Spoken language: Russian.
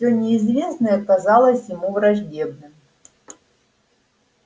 всё неизвестное казалось ему враждебным